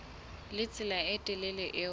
le tsela e telele eo